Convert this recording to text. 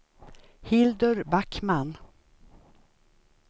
Hildur Backman